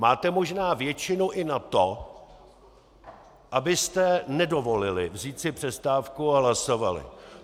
Máte možná většinu i na to, abyste nedovolili vzít si přestávku a hlasovali.